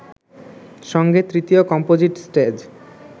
সঙ্গে তৃতীয় composite stage